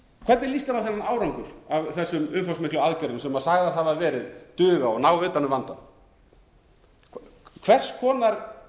hvernig lýst þér á innan árangur af þessum umfangsmiklu aðgerðum sem sagðar hafa verið duga og náð utan um vandann hvers